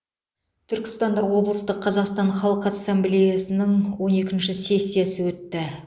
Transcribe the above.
түркістанда облыстық қазақстан халық ассамблеясының он екінші сессиясы өтті